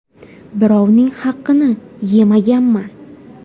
Birovning haqini yemaganman.